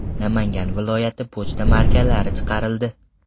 Namangan viloyati” pochta markalari chiqarildi.